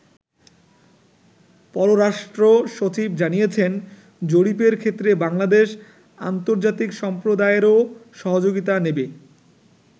পররাষ্ট্র সচিব জানিয়েছেন, জরিপের ক্ষেত্রে বাংলাদেশ আন্তর্জাতিক সম্প্রদায়েরও সহযোগিতা নেবে।